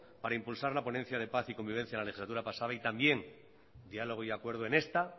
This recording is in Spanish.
para impulsar la ponencia de paz y convivencia en la legislatura pasada y también diálogo y acuerdo en esta